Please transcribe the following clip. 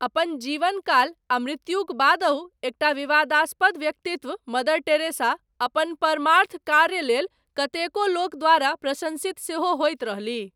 अपन जीवनकाल, आ मृत्युक बादहु, एकटा विवादास्पद व्यक्तित्व, मदर टेरेसा, अपन परमार्थ कार्य लेल, कतेको लोक द्वारा प्रशंसित, सेहो होइत रहलीह।